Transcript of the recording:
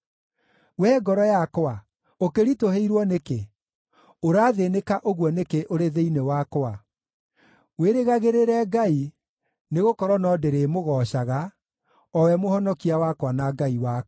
Wee ngoro yakwa, ũkĩritũhĩirwo nĩkĩ? Ũrathĩĩnĩka ũguo nĩkĩ ũrĩ thĩinĩ wakwa? Wĩrĩgagĩrĩre Ngai, nĩgũkorwo no ndĩrĩmũgoocaga, o we Mũhonokia wakwa na Ngai wakwa.